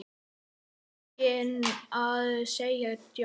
Enginn að segja djók?